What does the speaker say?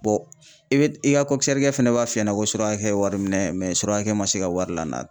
i bɛ i ka kɛ fana b'a f'i ɲɛna ko surakɛ ye wari minɛ surakɛ man se ka wari lana.